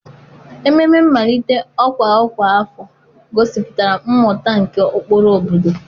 Ememe mmalite ọkwa ọkwa afọ gosipụtara mmụta nke ụkpụrụ obodo.